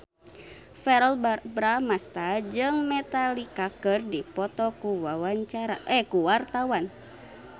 Verrell Bramastra jeung Metallica keur dipoto ku wartawan